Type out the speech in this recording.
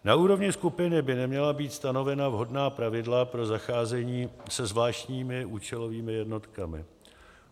Na úrovni skupiny by měla být stanovena vhodná pravidla pro zacházení se zvláštními účelovými jednotkami.